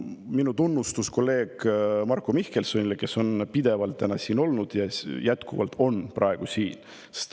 Minu tunnustus kolleeg Marko Mihkelsonile, kes on pidevalt täna siin olnud ja on ka praegu siin.